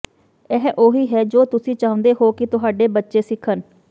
ਇਹ ਉਹੀ ਹੈ ਜੋ ਤੁਸੀਂ ਚਾਹੁੰਦੇ ਹੋ ਕਿ ਤੁਹਾਡੇ ਬੱਚੇ ਸਿੱਖਣ